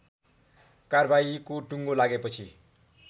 कारबाहीको टुङ्गो लागेपछि